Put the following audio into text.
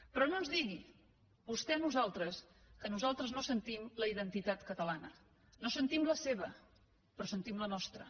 però no ens digui vostè a nosaltres que nosaltres no sentim la identitat catalana no sentim la seva però sentim la nostra